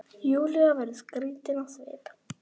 Júlía verður skrítin á svip.